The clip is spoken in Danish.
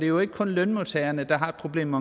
jo ikke kun lønmodtagerne der har et problem